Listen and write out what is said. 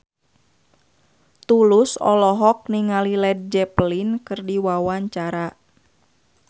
Tulus olohok ningali Led Zeppelin keur diwawancara